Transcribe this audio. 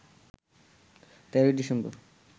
১৩ই December